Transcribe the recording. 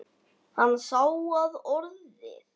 Hann sá að orðið